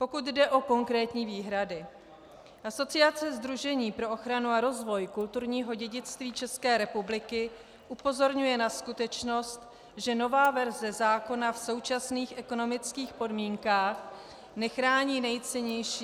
Pokud jde o konkrétní výhrady, Asociace sdružení pro ochranu a rozvoj kulturního dědictví České republiky upozorňuje na skutečnost, že nová verze zákona v současných ekonomických podmínkách nechrání nejcennější -